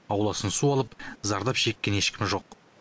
ауласын су алып зардап шеккен ешкім жоқ